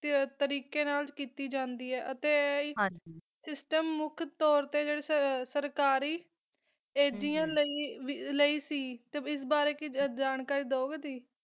ਕੁ ਕਾ ਕਾਸਾ ਤਰਕ ਨਾਲ ਕੀਤੀ ਜਾਂਦੀ ਆ ਹਨ ਜੀ ਹਮ ਟਮ ਮੋਖ ਤੋਰ ਤਾ ਹੋ ਜਾਂਦਾ ਆ ਅੜਿਆ ਲੀ ਸੀ ਆਸ ਬਾਰਾ ਕੋਈ ਜਾਨ ਕਰੀ ਦੋਯ ਗਾ ਤੁਸੀਂ